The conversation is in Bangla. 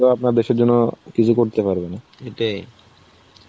তো আপনার দেশের জন্য কিছু করতে পারবে না.